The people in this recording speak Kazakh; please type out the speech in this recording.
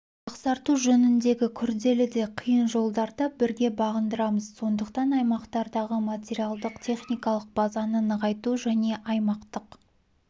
жақсарту жөніндегі күрделі де қиын жолдарды бірге бағындырамыз сондықтан аймақтардағы материалдық-техникалық базаны нығайту және аймақтық